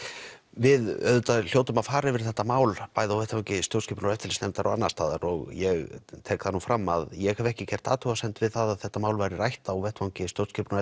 við hljótum að fara yfir þetta mál á vettvangi stjórnskipunar og eftirlitsnefndar og annars staðar og ég tek það nú fram að ég hef ekki gert athugasemd við að þetta mál verði rætt á vettvangi stjórnskipunar